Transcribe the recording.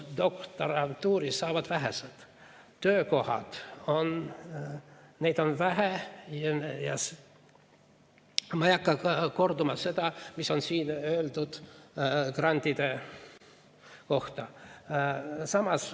Postdoktorantuuri saavad vähesed, töökohti on vähe ja ma ei hakka kordama seda, mida siin on öeldud grantide kohta.